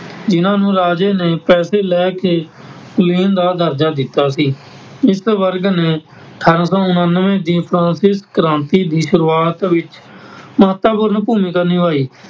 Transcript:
ਜਿਨ੍ਹਾਂ ਨੂੰ ਰਾਜੇ ਨੇ ਪੈਸੇ ਲੈ ਕੇ ਕੁਲੀਨ ਦਾ ਦਰਜਾ ਦਿੱਤਾ ਸੀ । ਇਸ ਵਰਗ ਨੇ ਅਠਾਰਾਂ ਸੌ ਉਨਾਨਵੇਂ ਦੀ ਫ਼ਰਾਂਸੀਸੀ ਕ੍ਰਾਂਤੀ ਦੀ ਸ਼ੁਰੁਆਤ ਵਿੱਚ ਮਹੱਤਵਪੂਰਨ ਭੂਮਿਕਾ ਨਿਭਾਈ ।